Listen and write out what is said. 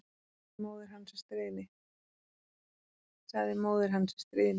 sagði móðir hans í stríðni.